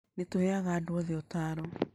Nĩ tũheaga andũ othe ũtaaro.